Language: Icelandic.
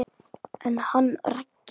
En hann Raggi?